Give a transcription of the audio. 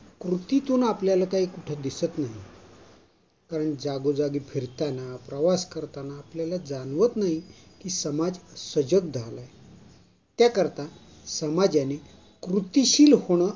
कृतीतून आपल्याला काई कुठे दिसत नाही पण जागोजागी फिरताना, प्रवास करताना आपल्याला जाणवत नाही की समाज सजग झाला आहे. त्याकरता, समाजाने कृतिशील होण